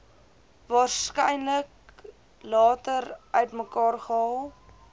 waarskynlik later uitmekaargehaal